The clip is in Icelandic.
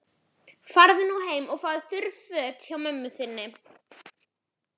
Farðu nú heim og fáðu þurr föt hjá mömmu þinni.